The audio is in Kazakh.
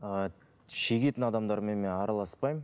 ы шегетін адамдармен мен араласпаймын